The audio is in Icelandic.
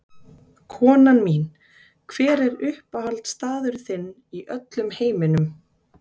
Konan mín Hver er uppáhaldsstaðurinn þinn í öllum heiminum?